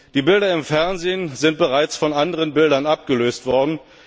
Die Bilder im Fernsehen sind bereits von anderen Bildern abgelöst worden.